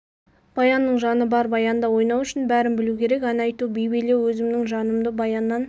баянның жаны бар баянда ойнау үшін бәрін білу керек ән айту би билеу өзімнің жанымды баяннан